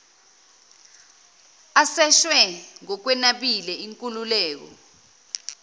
aseshwe ngokwenabile inkululeko